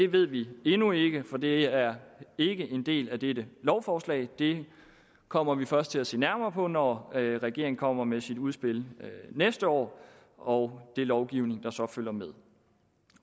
ved vi endnu ikke for det er ikke en del af dette lovforslag det kommer vi først til at se nærmere på når regeringen kommer med sit udspil næste år og den lovgivning der så følger med